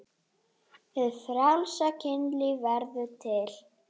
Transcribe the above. Hið frjálsa kynlíf verður til.